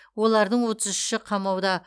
олардың отыз үші қамауда